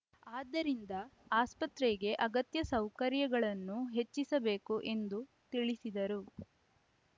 ಆದ್ದರಿಂದ ಆಸ್ಪತ್ರೆಗೆ ಅಗತ್ಯ ಸೌಕರ್ಯಗಳನ್ನು ಹೆಚ್ಚಿಸಬೇಕು ಎಂದು ತಿಳಿಸಿದರು